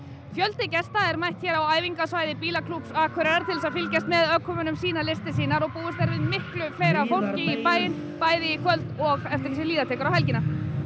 fjöldi gesta eru mættir hér á æfingasvæði bílaklúbbs Akureyrar til þess að fylgjast með ökumönnum sýna listir sínar og búist er við miklu fleira fólki í bæinn bæði í kvöld og eftir því sem líða tekur á helgina